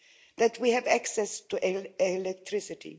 that we have access to electricity